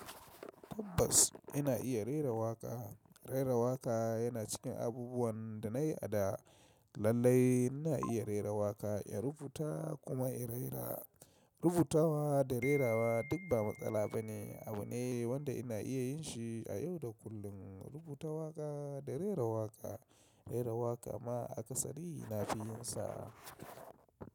Tabbas ina iya rera waƙa. Rera waƙa yana cikin abubuwan da na yi a da. Lallai ina iya rera waƙa, ya rubuta kuma ya rera. Rubutawa da rerawa duk ba matsala ba ne. Abu ne wanda ina iya yin shi a yau da kullum. Rubuta waƙa da rera waƙa, rera waƙa ma a ƙasari ina fi yin sa.